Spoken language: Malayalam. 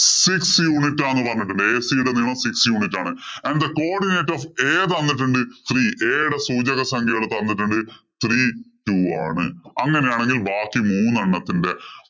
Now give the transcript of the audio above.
Six unit ആണ് പറഞ്ഞിട്ടുള്ളത്. AC യുടെ നീളം six unit ആണ്. And the codinate of A തന്നിട്ടുണ്ട് three. A യുടെ സൂചക സംഖ്യകള്‍ തന്നിട്ടുണ്ട് three two ആണ്. അങ്ങനെയാണെങ്കില്‍ ബാക്കി മൂന്നെണ്ണത്തിന്‍റെ